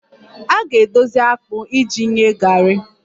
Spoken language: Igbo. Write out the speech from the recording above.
A ga-edozi akpụ iji nye garri